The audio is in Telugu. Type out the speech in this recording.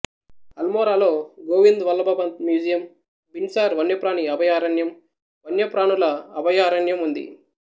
అల్మోరాలో గోవింద్ వల్లభ పంత్ మ్యూజియం బిన్సార్ వన్యప్రాణి అభయారణ్యం వన్యప్రాణుల అభయారణ్యం ఉంది